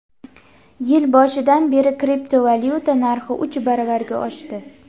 Yil boshidan beri kriptovalyuta narxi uch baravarga oshdi.